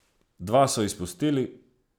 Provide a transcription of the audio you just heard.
Dva so izpustili.